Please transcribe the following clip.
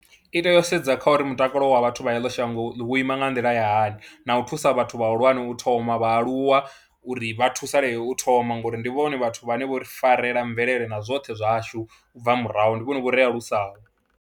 I tea u sedza kha uri mutakalo wa vhathu vha heḽo shango wo ima nga nḓila ya hani na u thusa vhathu vhahulwane u thoma, vhaaluwa uri vha thusalee u thoma ngori ndi vhone vhathu vhane vho ri farela mvelele na zwoṱhe zwashu u bva murahu, ndi vhone vho ri alusaho.